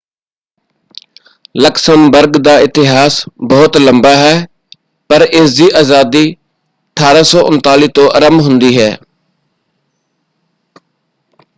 Luxembourg ਦਾ ਇਤਿਹਾਸ ਬਹੁਤ ਲੰਬਾ ਹੈ ਪਰ ਇਸਦੀ ਆਜ਼ਾਦੀ 1839 ਤੋਂ ਆਰੰਭ ਹੁੰਦੀ ਹੈ।